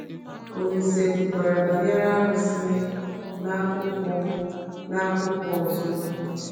Olísè kwukwara banyere arụsị n’akaụkwọ n’akaụkwọ ọzọ.